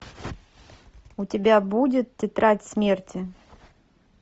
у тебя будет тетрадь смерти